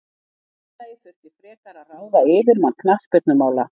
Félagið þurfi frekar að ráða yfirmann knattspyrnumála.